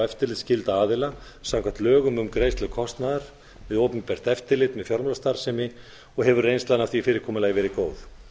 eftirlitsskylda aðila samkvæmt lögum um greiðslu kostnaðar við opinbert eftirlit með fjármálastarfsemi og hefur reynslan af því fyrirkomulagi verið góð